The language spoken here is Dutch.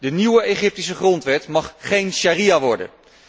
De nieuwe Egyptische grondwet mag geen sharia worden.